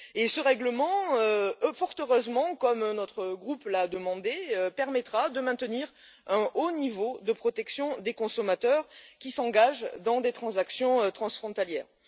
Ce règlement, fort heureusement, comme notre groupe l'a demandé, permettra de maintenir un haut niveau de protection des consommateurs qui s'engagent dans des transactions transfrontalières.